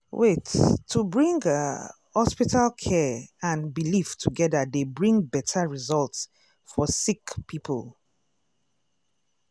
wait- to bring ah hospital care and belief togeda dey bring beta result for sick poeple.